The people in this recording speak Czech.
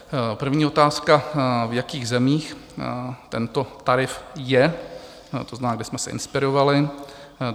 První otázka: V jakých zemích tento tarif je, to znamená, kde jsme se inspirovali?